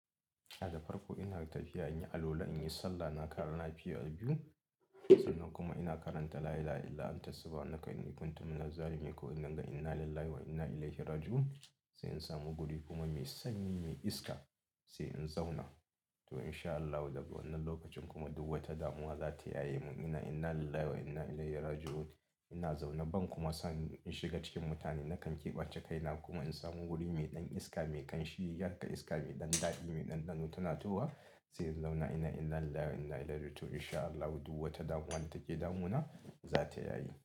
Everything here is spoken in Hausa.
A da farko ina tafiya in yi alwala, in yi sallah. Na ƙara na fiya biyu sannan kuma ina karanta la ila ha illa anta subha naka in yi kuntuna mina zalumin ko in karanta inna lillahi wa inna ilaihi raji'un sai in samu guri kuma mai sanyi me iska sai in zauna. To in sha Allahu daga wannan lokacin kuma duk wata damuwa za ta yaye mun. Ina inna lillahi wa inna ilaihi raji'un. Ina zaune ban kuma son in shiga cikin mutane nakan keɓance kaina kuma in samu wuri mai ɗan iska, mai ƙanshi, yadda iska, mai ɗan daɗi, mai ɗanɗano tana tahowa sai in zauna. Inna inna lillahi wa inna ilaihi raji'un. To in sha Allahu duk wata damuwa ta ke damuna za ta yaye.